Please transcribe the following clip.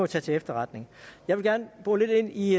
tage til efterretning jeg vil gerne bore lidt i